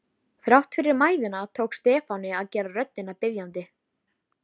Hönd hennar þakklát á handlegg Lenu.